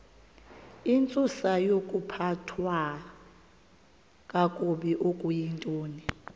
intsusayokuphathwa kakabi okuyintoni